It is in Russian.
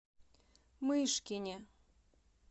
мышкине